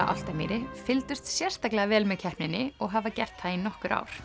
Álftamýri fylgdust sérstaklega vel með keppninni og hafa gert það í nokkur ár